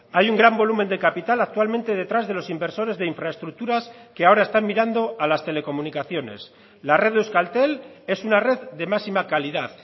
hay un gran volumen de capital actualmente detrás de los inversores de infraestructuras que ahora están mirando a las telecomunicaciones la red de euskaltel es una red de máxima calidad